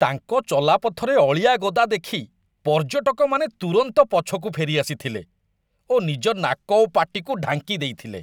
ତାଙ୍କ ଚଲାପଥରେ ଅଳିଆ ଗଦା ଦେଖି ପର୍ଯ୍ୟଟକମାନେ ତୁରନ୍ତ ପଛକୁ ଫେରିଆସିଥିଲେ ଓ ନିଜ ନାକ ଓ ପାଟିକୁ ଢାଙ୍କି ଦେଇଥିଲେ।